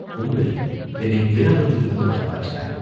"பூங்குழலி என்னைப் பேராபத்திலிருந்து காப்பாற்றினாய்.